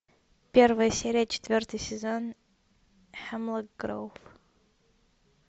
первая серия четвертый сезон хэмлок гроув